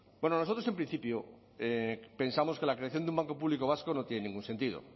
bueno nosotros en principio pensamos que la creación de un banco público vasco no tiene ningún sentido